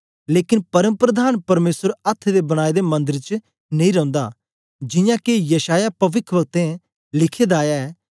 लेकन परमप्रधान परमेसर अथ्थ दे बनाए दे मन्दर च नेई रौंदा जियां के यशायाह पविखवक्तें लिखे दा ऐ